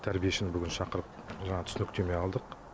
тәрбиешіні бүгін шақырып жаңа түсініктеме алдық